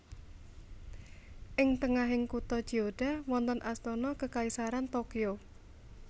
Ing tengahing kutha Chiyoda wonten Astana Kekaisaran Tokyo